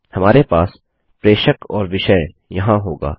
हमारे पास प्रेषक और विषय यहाँ होगा